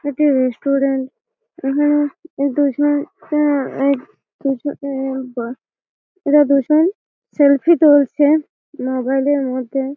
এটি রেস্ট্রুরেন্ট এখানে দুজন আ-আ দুজন আ বা এরা দুজন সেলফি তুলছে মোবাইল -এর মধ্যে।